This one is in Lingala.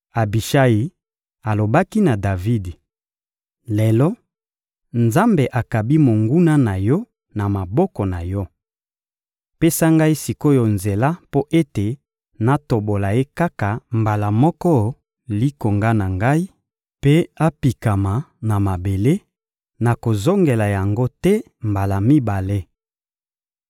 Abishayi alobaki na Davidi: — Lelo, Nzambe akabi monguna na yo na maboko na yo. Pesa ngai sik’oyo nzela mpo ete natobola ye kaka mbala moko likonga na ngai mpe apikama na mabele, nakozongela yango te mbala mibale.